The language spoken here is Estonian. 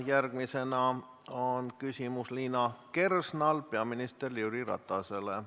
Järgmisena on Liina Kersnal küsimus peaminister Jüri Ratasele.